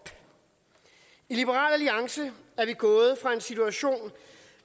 i liberal alliance er vi gået fra en situation